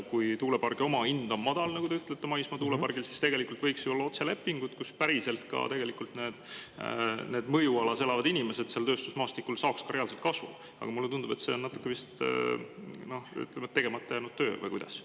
Kui tuulepargi omahind on madal, nagu te ütlete, maismaa tuulepargil, siis tegelikult võiks ju olla otselepingud, kus päriselt ka need mõjualas elavad inimesed seal tööstusmaastikul saaks ka reaalselt kasu, aga mulle tundub, et see on natukene vist tegemata jäänud töö, või kuidas.